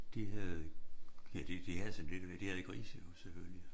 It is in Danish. De havde ja de de havde sådan lidt af hver de havde grise jo selvfølgelig